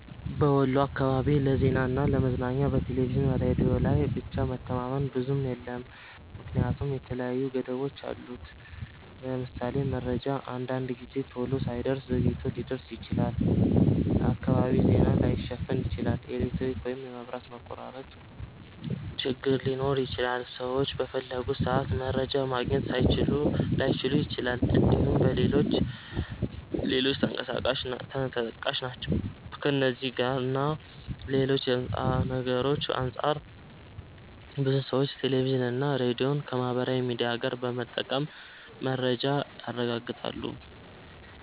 በወሎ አካባቢ ለዜናና ለ ለመዝናኛ በቴሌቪዥንና ሬዲዮ ላይ ብቻ መተማመን ብዙም የለም ምክንያቱም የተለያዩ ገደቦች አሉት። ለምሳሌ:- መረጃ አንዳንድ ጊዜ ቶሎ ላይደርስ ዘግይቶ ሊደርስ ይችላል፣፣ ሁሉንም የአካባቢ ዜና ላይሸፍን ይችላል፣ የኤሌክትሪክ ወይም የመብራት መቆራረጥ ችግር ሊኖር ይችላል፣ ሰዎች በፈለጉት ሰአት መረጃ ማግኘት ላይችሉ ይችላል እንድሁም ሌሎችም ተጠቃሽ ናቸው። ከእነዚህ እና ሌሎች ነገርሮች አንፃር ብዙ ሰዎች ቴሌቪዥንና ሬዲዮን ከማህበራዊ ሚዲያ ጋር በመጠቀም መረጃን ያረጋግጣሉ።